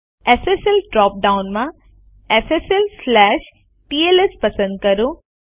SSL drop ડાઉનમાં sslટીએલએસ પસંદ કરો